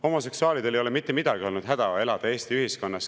Homoseksuaalidel ei ole olnud mitte midagi häda, elades Eesti ühiskonnas.